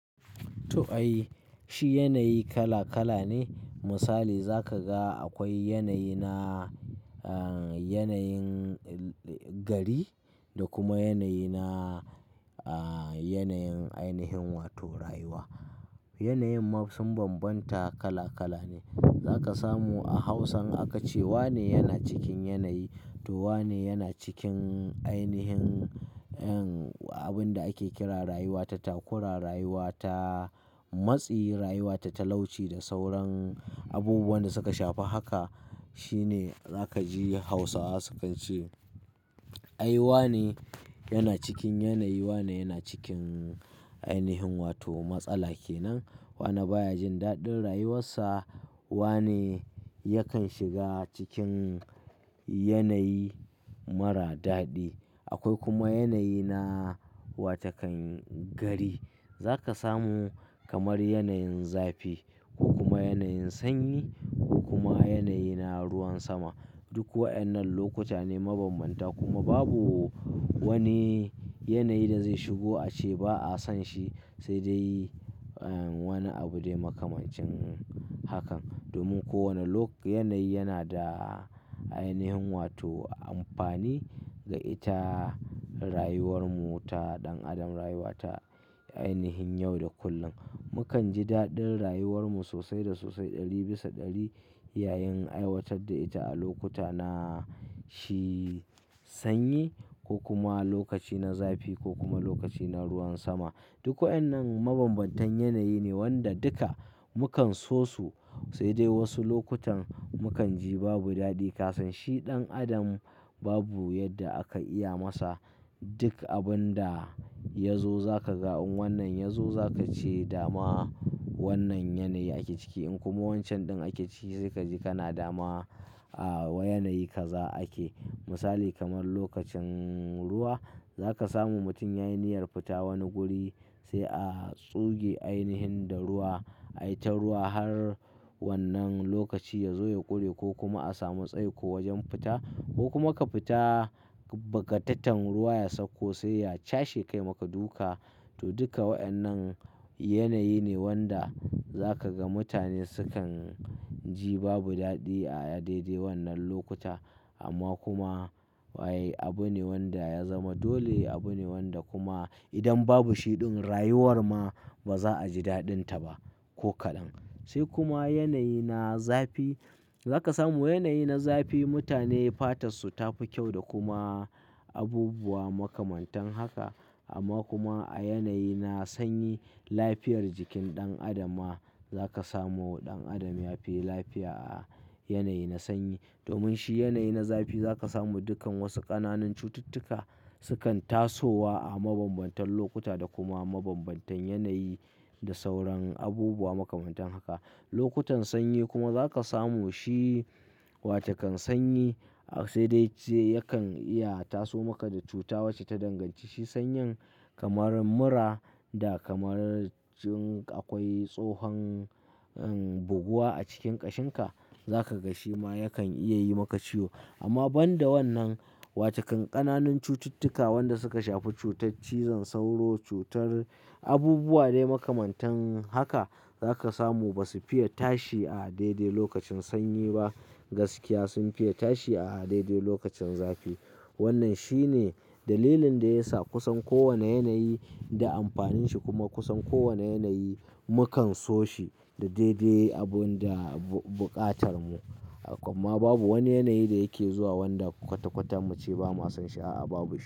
To ai, shi yanayi kala kala ne. Misali za ka ga akwai yanayi na, eh, yanayin gari da kuma yanayi na, eh, yanayin ainihin wato rayuwa. Yanayin ma sun bambanta kala kala ne. Za ka samu a Hausa in akce wane yana cikin yanayi, to wane yana cikin ainihin, en, abin da ake kira rayuwa ta takura, rayuwa ta matsi, rayuwa ta talauci da sauran abubuwan da suka shafi haka. Shi ne za ka ji Hausawa sukan ce, ai wane yana cikin yanayi, wane yana cikin ainihin wato matsala kenan. Wane ba ya jin daɗin rayuwarsa, wane yakan shiga cikin yanayi mara daɗi. Akwai kuma yanayi na wata kan gari. Za ka samu kamar yanayin zafi ko kuma yanayin sanyi ko kuma yanayi na ruwan sama. Duk waɗannan lokuta ne mabanbanta. Kuma babu wani yanayi da zai shigo a ce ba a son shi, sai dai wani abu dai makamancin hakan. Domin kowane lok-- yanayi yana da ainihin wato amfani ga ita rayuwar mu ta ɗan adam, rayuwa ta ainihin yau da kullum. Mukan ji daɗin rayuwar mu sosai da sosai ɗari bisa ɗari yayin aiwatar da ita a lokuta na shi sanyi ko kuma lokaci na zafi ko kuma lokaci na ruwan sama. Duk waƴannan mabanbantan yanayi ne wanda duka mu kan so su. Sai dai wasu lokutan mu kan ji babu daɗi. Kasan shi ɗan adam babu yadda aka iya masa duk abun da ya zo za ka ga in wannan ya zo za ka ce dama wannan yanayi ake ciki. In kuma wancan ɗin ake ciki sai ka ji kana dama a wa yanayi ka za ake. Misali kamar lokacin ruwa, za ka samu mutum ya yi niyyar fita wani guri sai a tsuge ainihin da ruwa. Ai ta ruwa har wannan lokaci ya zo ya ƙure ko kuma a samu tsaiko wajen fita ko kuma ka fita, bagataten ruwa ya sauko sai ya cashe ka ya maka duka. To duka waƴannan yanayi ne wanda za ka ga mutane sukan ji babu daɗi a daidai wannan lokuta. Amma kuma wai abu ne wanda ya zama dole, abu ne wanda kuma idan babu shi ɗin rayuwar ma ba za a ji daɗin ta ba ko kaɗan. Sai kuma yanayi na zafi. Za ka samu yanayi na zafi, mutane fatar su ta fi kyau da kuma abubuwa makamantan haka. Amma kuma a yanayi na sanyi lafiyar jikin ɗan adam ma za ka samu ɗan adam ya fi lafiya a yanayi na sanyi. Domin shi yanayi na zafi za ka samu dukkan wasu ƙananan cututtuka sukan tasowa a mabanbantan lokuta da kuma mabanbantan yanayi da sauran abubuwa makamantan haka. Lokutan sanyi kuma za ka samu shi, wata kan sanyi sai dai ce yakan iya taso maka da cuta wacce ta danganci shi sanyin kamar mura da kamar cin akwai tsohon, en, buguwa a cikin ƙashin ka, za ka ga shi ma yakan iya yi maka ciwo. Amma ban da wannan, wata kan ƙananun cututtuka wanda suka shafi cutar cizon sauro, cutar abubuwa dai makamantan haka za ka samu ba su fiye tashi a daidai lokacin sanyi ba. Gaskiya sun fiye tashi a daidai lokacin zafi. Wannan shi ne dalilin da ya sa kusan kowane yanayi da amfanin shi kuma kusan kowane yanayi mu kan so shi da daidai abun da buƙatar mu. Amma babu wani yanayi da yake zuwa wanda kwata kwata mu ce ba mu son shi a a babu shi.